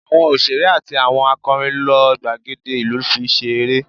Awọn oṣere ati awọn akọrin lo gbagede ilu fi se ere